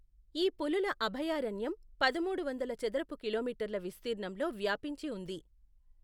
ఈ పులుల అభయారణ్యం పదమూడు వందలు చదరపు కిలోమీటర్ల విస్తీర్ణంలో వ్యాపించి ఉంది.